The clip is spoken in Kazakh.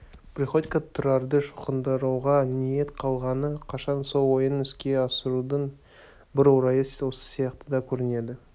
приходько тұрарды шоқындыруға ниет қылғалы қашан сол ойын іске асырудың бір орайы осы сияқты да көрінді